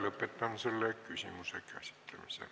Lõpetan selle küsimuse käsitlemise.